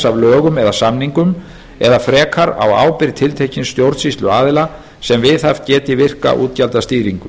af lögum eða samningum eða frekar á ábyrgð tiltekins stjórnsýsluaðila sem viðhaft geti virka útgjaldastýringu